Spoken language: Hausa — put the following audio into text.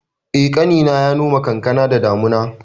Eh, ƙanina ya noma kankana da damuna